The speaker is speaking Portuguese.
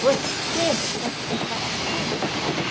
Você vai de castigo?